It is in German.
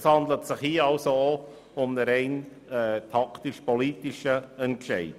Es handelt sich hier auch um einen rein taktisch-politischen Entscheid.